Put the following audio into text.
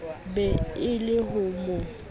be e le ho mo